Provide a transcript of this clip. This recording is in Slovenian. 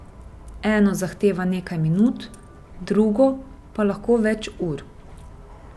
Eno zahteva nekaj minut, drugo pa lahko več ur.